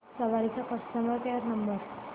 सवारी चा customer care number